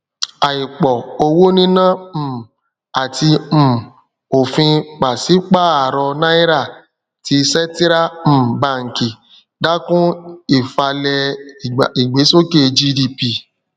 àìpọ owó níná um àti um òfin pàsípààrọ náírà ti sẹtírá um baǹkì dákún ìfalẹ ìgbésókè gdp